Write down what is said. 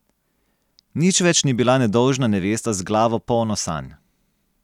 Nič več ni bila nedolžna nevesta z glavo polno sanj.